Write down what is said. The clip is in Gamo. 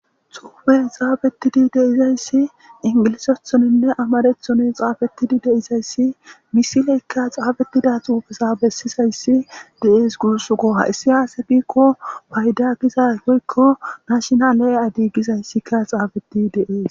Xuffey xaffidi deizayssi inggilizathoninne ammarathon xaafetidi deizayssi missileyka xaafetida xuufeza bessizayssi de'ess gussiko hayssika aaze giiko payida woykko national ide gizaysika xaafetidi de'es.